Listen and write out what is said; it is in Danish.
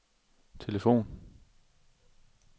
telefon